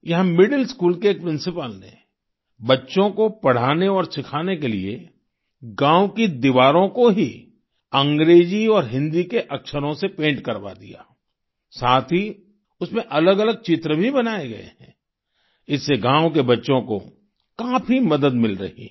यहाँ middle school के एक प्रिंसिपल ने बच्चों को पढ़ाने और सिखाने के लिए गाँव की दीवारों को ही अंग्रेजी और हिंदी के अक्षरों से पैंट करवा दिया साथ ही उसमें अलगअलग चित्र भी बनाए गए हैं इससे गाँव के बच्चों को काफी मदद मिल रही है